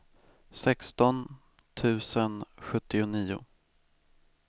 sexton tusen sjuttionio